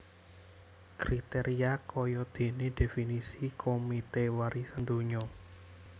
Kriteria kayadéné definisi Komite Warisan Donya